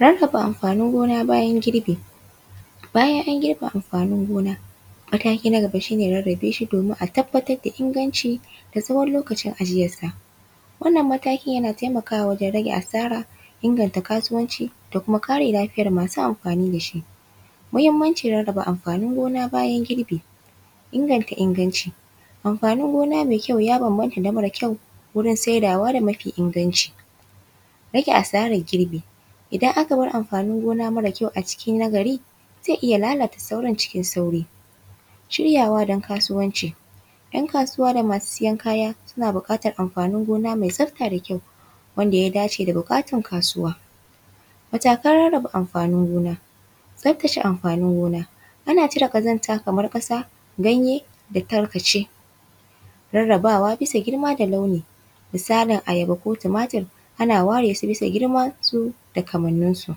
Rarraba amfanin gona bayan girbi. Bayan an girbe amfanin gona, mataki na gaba shi ne rarrabe shi domin a tabbatar da inganci da tsawon lokacin ajiyarsa. Wannan matakin yana taimakawa wajen rage asara, inganta kasuwanci da kuma kare lafiyar masu amfani da shi. Muhimmancin rarraba amfanin gona bayan girbi: inganta inganci:- amfanin gona mai kyau ya bambanta da mara kyau wurin saidawa da mafi inganci. Rage asarar girbi:- idan aka baramfanin gona mara kyau a cikin na gari, zai iya lalata sauran cikin sauri. Shiryawa don kasuwanci:- ‘yan kasuwa da masu siyan kaya suna buƙatar amfanin gona mai tsafta da kyau wanda ya dace da buƙatar kasuwa. Matakan rarraba amfanin gona: tsaftace amfanin gona:- ana cire ƙazanta kamar ƙasa, ganye da tarkace. Rarrabawa bisa girma da launi:- misalin ayaba ko tumatur, ana war su bisa girmansu da kamanninsu.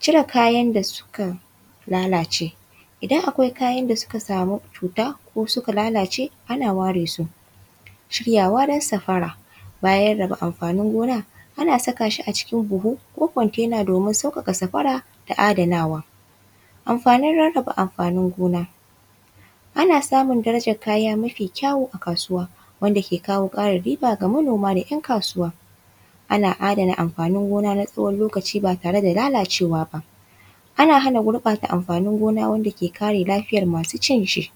Cire kayan da suka lalace:- idan akwai kayan da suka samu cuta ko suka lalace, ana ware su. Shiryawa don safara:- bayan raba amfanin gona, ana saka shi a cikin buhu ko container don sauƙaƙa safara da adanawa. Amfanin rarraba amfanin gona: ana samun darajar kaya mafi kyawu a kasuwa wanda ya kawo ƙarin riba ga manoma da ‘yan kasuwa. Ana adana amfanin gona na tsawon lokaci ba tare da lalacewa ba. Ana hana gurɓata amfanin gona wanda ke kare lafiyar masu cin shi.